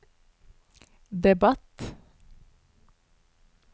debatt